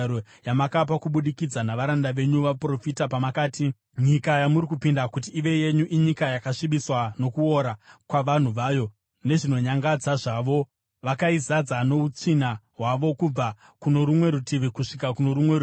yamakapa kubudikidza navaranda venyu vaprofita pamakati, ‘Nyika yamuri kupinda kuti ive yenyu inyika yakasvibiswa nokuora kwavanhu vayo. Nezvinonyangadza zvavo vakaizadza noutsvina hwavo kubva kuno rumwe rutivi kusvika kuno rumwe rutivi.